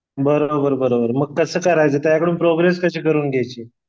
बरोबर बरोबर मग कसं करायचं? त्याच्याकडून प्रोग्रेस कशी करून घ्यायची?